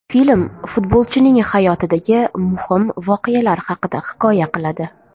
Film futbolchining hayotidagi muhim voqealar haqida hikoya qiladi.